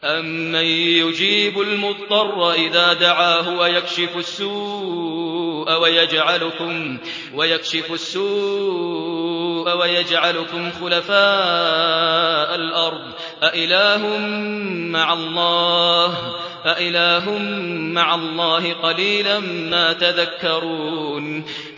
أَمَّن يُجِيبُ الْمُضْطَرَّ إِذَا دَعَاهُ وَيَكْشِفُ السُّوءَ وَيَجْعَلُكُمْ خُلَفَاءَ الْأَرْضِ ۗ أَإِلَٰهٌ مَّعَ اللَّهِ ۚ قَلِيلًا مَّا تَذَكَّرُونَ